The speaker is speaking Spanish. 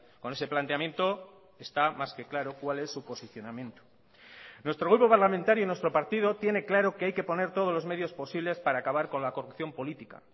con ese planteamiento está más que claro cuál es su posicionamiento nuestro grupo parlamentario y nuestro partido tiene claro que hay que poner todos los medios posibles para acabar con la corrupción política